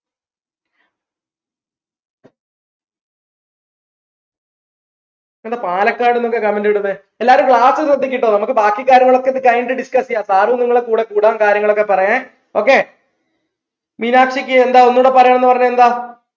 എന്താ പാലക്കാട്ന്നൊക്കെ comment ഇടുന്നെ എല്ലാരും class ശ്രെദ്ദിക്ക് കേട്ടോ നമുക്ക് ബാക്കി കാര്യങ്ങളൊക്കെ ഇത് കഴിഞ്ഞിട്ട് discuss ചെയ്യാം sir ഉം നിങ്ങളെ കൂടെ കൂടാം കാര്യങ്ങളൊക്കെ പറയാൻ okay മീനാക്ഷിക്ക് എന്താ ഒന്നൂടി പറയണം പറഞ്ഞേന്താ